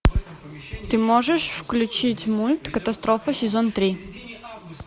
ты можешь включить мульт катастрофа сезон три